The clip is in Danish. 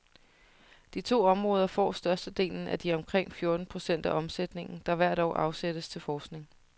De to områder får størstedelen af de omkring fjorten procent af omsætningen, der hvert år afsættes til forskning.